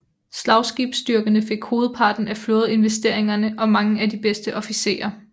Slagskibsstyrkerne fik hovedparten af flådeinvesteringerne og mange af de bedste officerer